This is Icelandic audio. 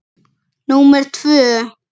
númer tvö.